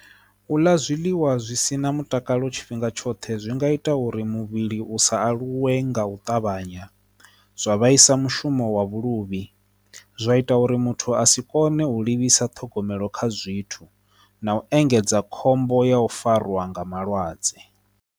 U ḽa zwiḽiwa zwisina mutakalo tshifhinga tshoṱhe zwi nga ita uri muvhili u sa aluwe nga u ṱavhanya zwa vhaisa mushumo wa vhuluvhi zwa ita uri muthu a si kone u livhisa ṱhogomelo kha zwithu na u engedza khombo ya u fariwa nga malwadze.